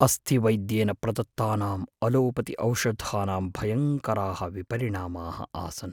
अस्थिवैद्येन प्रदत्तानाम् अलोपतिऔषधानां भयङ्कराः विपरिणामाः आसन्।